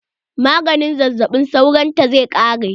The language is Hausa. Maganin zazzaɓin sauron ta zai ƙare.